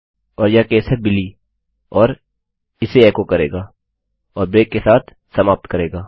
और यह केस है बिली और यह इसे एचो करेगा और ब्रेक के साथ समाप्त करेगा